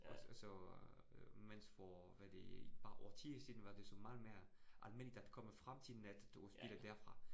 Og og så øh mens for hvad det et par årtier siden var det så meget mere almindeligt at komme frem til net og spille derfra